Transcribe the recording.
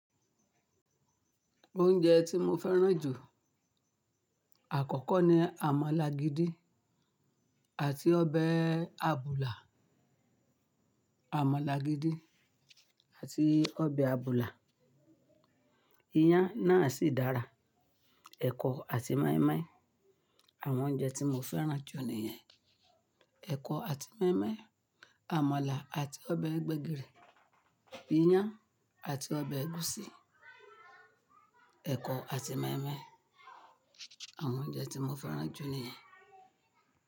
Oúnjẹ tí mo fẹ́ràn jù àkọ́kọ́ ni àmàlà gidi àti ọbẹ̀ àbùlà. Àmàlà gidi àti ọbẹ̀ àbùlà. Iyán náà sì dára, ẹ̀kọ àti mọ́ímọ́í. Àwọn oúnjẹ tí mo fẹ́ràn jù ni ìyẹn. Ẹ̀kọ àti mọ́ímọ́í, àmàlà àti ọbẹ̀ gbẹ́gìrì, iyán àti ọbẹ̀ ẹ̀gúsí. Ẹ̀kọ àti mọ́ímọ́í. Àwọn oúnjẹ tí mo fẹ́ràn jù ni ìyẹn.